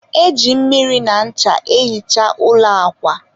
e ji mmiri na ncha ehicha ụlọ akwa